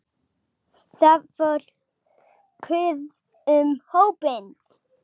Það fór kurr um hópinn.